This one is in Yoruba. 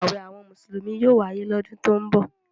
Àwẹ̀ àwọn Mùsùlùmí yóò wáyé lọ́dún tó ń bọ̀.